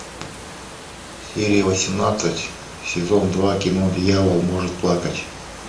серия восемнадцать сезон два кино дьявол может плакать